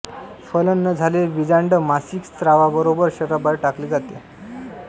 फलन न झालेले बीजांड मासिक स्रावाबरोबर शरीराबाहेर टाकले जाते